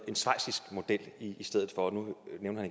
en schweizisk model i stedet for nu nævner